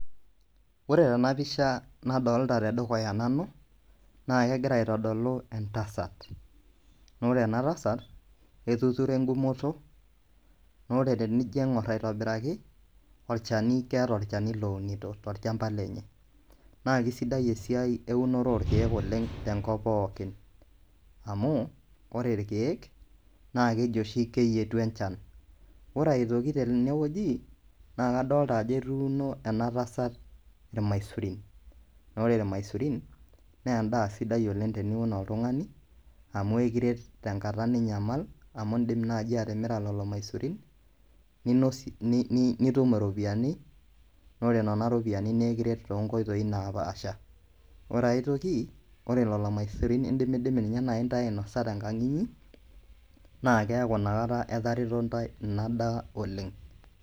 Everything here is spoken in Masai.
Wore tena pisha nadoolta tedukuya nanu, naa kekira aitodolu entasat. Naa wore ena tasat, etuturo engumoto, naa wore tenijio aingorr aitobiraki, olchani keeta olchani lounito tolchamba lenye. Naa kesidai esiai eunoto orkiek tenkop pookin, amu wore irkiek, naa keji oshi keyietu enchan. Wore aitoki tenewoji, naa kadoolta ajo etuuno ena tasat ilmaisurin. Naa wore ilmaisurin, naa endaa sidai oleng' teniun oltungani, amu ekiret tenkata ninye ninyamal amu iindim naaji atimira lelo maisurin, ninosie nitum iropiyiani, naa wore niana ropiyiani naa ekiret toonkoitoi naapaasha. Wore aitoki, wore lelo maisurin indimidimi ninye naai intae ainosa tenkang' inyi, naa keaku inakata etareto intae ina daa oleng'.